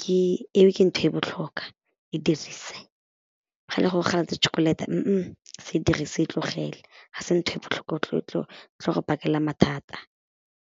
ke eo ke ntho e botlhokwa e dirise, ga e le gore o galetse chocolate se e dirise, e tlogele ga se ntho e botlhokwa e tlo go bakela mathata.